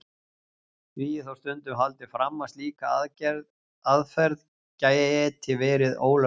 Því er þó stundum haldið fram að slík aðferð geti verið ólögmæt.